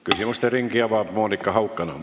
Küsimuste ringi avab Monika Haukanõmm.